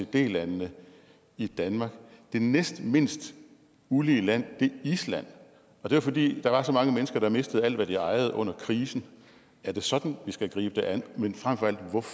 landene i danmark det næstmindst ulige land er island og det er fordi der var så mange mennesker der mistede alt hvad de ejede under krisen er det sådan at vi skal gribe det an men frem